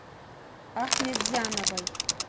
ахметзяновой